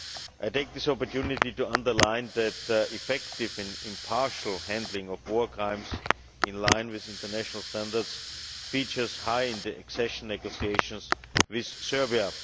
I take this opportunity to underline that effective and impartial handling of war crimes, in line with international standards, features high in the accession negotiations with Serbia.